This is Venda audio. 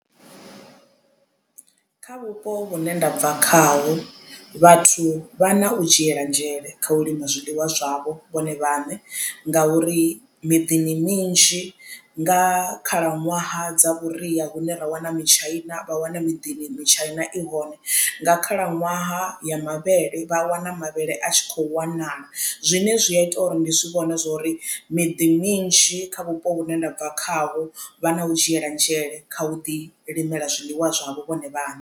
Kha vhupo vhune ndabva khaho vhathu vha na u dzhiela nzhele kha u lima zwiḽiwa zwavho vhone vhaṋe ngauri miḓini minzhi nga khalaṅwaha dza vhuria hune ra wana mitshaina vha wana miḓini mitshaina i hone. Nga khalaṅwaha ya mavhele vha wana mavhele a tshi kho wanala zwine zwi a ita uri ndi zwi vhone zwori miḓi minzhi kha vhupo vhune ndabva khavho vha na u dzhiela nzhele kha u ḓi limela zwiliṅwa zwavho vhone vhaṋe.